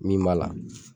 Min b'a la